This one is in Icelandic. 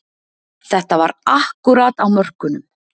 Þetta var akkúrat á mörkunum